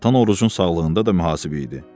Atan Orucun sağlığında da mühasib idi.